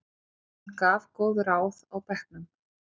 Hann gaf góð ráð á bekknum.